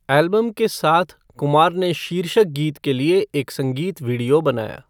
Album के साथ, कुमार ने शीर्षक गीत के लिए एक संगीत वीडियो बनाया।